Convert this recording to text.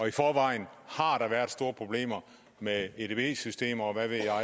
i forvejen har der været store problemer med edb systemer